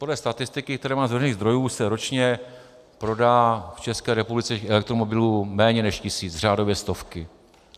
Podle statistik, které mám z veřejných zdrojů, se ročně prodá v České republice elektromobilů méně než tisíc, řádově stovky.